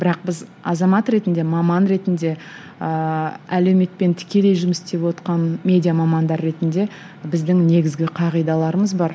бірақ біз азамат ретінде маман ретінде ыыы әлеуметпен тікелей жұмыс істевотқан медиа мамандар ретінде біздің негізгі қағидаларымыз бар